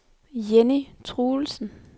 Jenny Truelsen